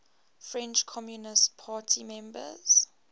french communist party members